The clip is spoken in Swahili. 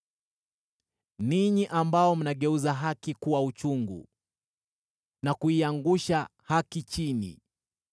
Ninyi ambao mnageuza haki kuwa uchungu na kuiangusha haki chini